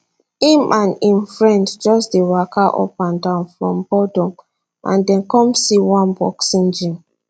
im and im friend just dey waka up and down from boredom and dem come see one boxing gym